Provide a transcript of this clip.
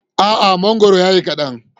A'a, mangoro ya yi kaɗan.